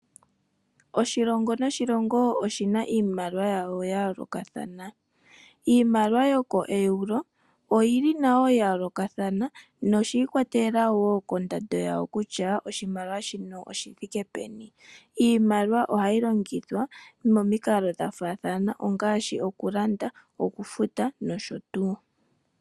Oshilongo noshilongo oshina iimaliwa yawo ya yoolokathana. Iimaliwa yoko Euro oyili nayo ya yoolokathana noshi ikwatelela woo kondando yawo kutya oshimaliwa shino oshithike peni. Iimaliwa ohayi longithwa momikalo dha faathana ngaashi okulanda ,okufuta nosho tuu.